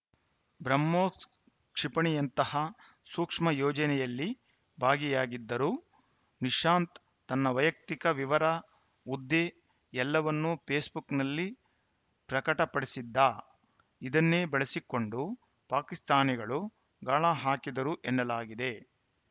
ಬ್ರಹ್ಮೋಸ್‌ ಕ್ಷಿಪಣಿಯಂತಹ ಸೂಕ್ಷ್ಮ ಯೋಜನೆಯಲ್ಲಿ ಭಾಗಿಯಾಗಿದ್ದರೂ ನಿಶಾಂತ್‌ ತನ್ನ ವೈಯಕ್ತಿಕ ವಿವರ ಹುದ್ದೆ ಎಲ್ಲವನ್ನೂ ಫೇಸ್‌ಬುಕ್‌ನಲ್ಲಿ ಪ್ರಕಟಪಡಿಸಿದ್ದ ಇದನ್ನೇ ಬಳಸಿಕೊಂಡು ಪಾಕಿಸ್ತಾನಿಗಳು ಗಾಳ ಹಾಕಿದ್ದರು ಎನ್ನಲಾಗಿದೆ